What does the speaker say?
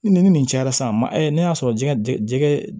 Ni nin cayara sisan ma ne y'a sɔrɔ jɛgɛ jɛgɛ